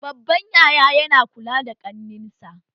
Babban yaya ya na kula da kannensa